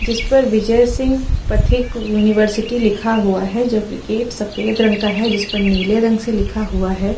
इस पर विजय सिंह पथिक यूनिवर्सिटी लिखा हुआ है। जब के गेट सफेद रंग के हैं। जिसपे नीले रंग का है।